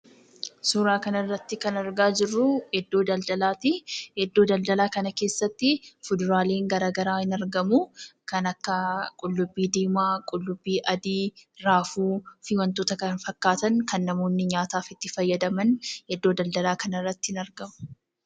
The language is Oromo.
Suuraa kana irratti kan argaa jirru iddoo daldalaati. Iddoo daldalaa kana keessatti fuduraaleen gara garaa hin argamu. Kanneen akka: Qullubbii diimaa, qullubbii adii, raafuu, fi wantoota kana fakkaatan kana namoonni nyaataaaf itti fayyadaman iddoo daldalaa kanarratti hin argamu.